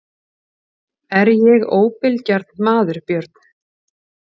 Er ég óbilgjarn maður Björn?